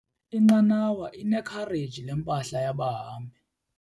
Inqanawa inekhareji lempahla yabahambi.